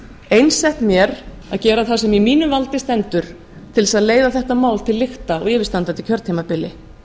einsett mér að gera það sem í mínu valdi stendur til þess að leiða þetta mál til lykta á yfirstandandi kjörtímabili